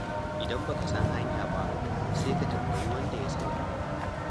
Idan ba ka san hanya ba, sai ka tambayi wanda ya sani.